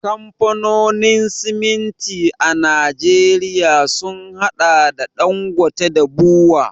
Kamfanonin siminti a Najeriya sun haɗa da Ɗangote da BUA.